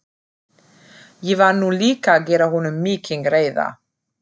Ég var nú líka að gera honum mikinn greiða.